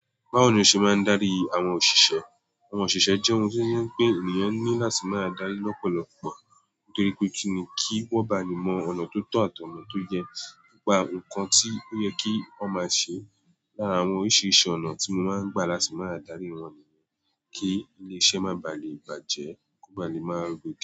Báwo ni o ṣe máa ń darí àwọn òṣìṣẹ́? Àwọn òṣìṣẹ́ jẹ́ ohun tí ó jẹ pé ènìyàn ní láti máa darí lọ́pọ̀lọpọ̀ nítorí pé kì í ni kí wọ́n ba le mọ ọ̀nà tó tọ́ àti ọna tó yẹ. Ní pa nnkan tí ó yẹ kí wọ́n máa ṣe. Lára àwọn oríṣi-risi ọ̀nà tí mo máa ń gbà láti máa darí wọn nìyẹn. Kí ilé iṣẹ́ má bà lé bàjẹ́, kó bà lè máa roke.